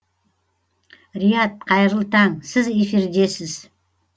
рияд қайырлы таң сіз эфирдесіз